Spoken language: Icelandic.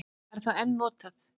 Er það enn notað?